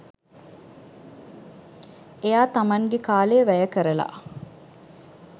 එයා තමන්ගෙ කාලය වැය කරලා